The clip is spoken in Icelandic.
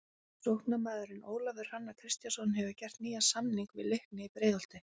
Sóknarmaðurinn Ólafur Hrannar Kristjánsson hefur gert nýjan samning við Leikni í Breiðholti.